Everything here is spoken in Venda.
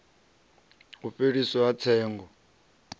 u fheliswa ha tsengo i